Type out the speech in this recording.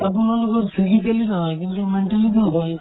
আপোনালোকৰ physically নহয় কিন্তু mentally তো হয়